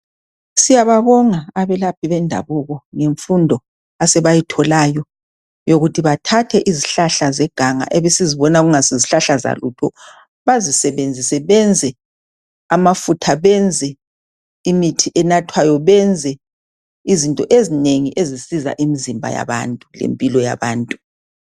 Siyababonga abelaphi bendabuko ngemfundo asebayitholayo, yokuthi bathathe izihlahla zeganga ebesizibona kungesizihlahla zalutho, basisebenzise benze amafutha, benze imithi enathwayo benze izinto ezinengi ezisiza imizimbayabantu lempilo yabantu.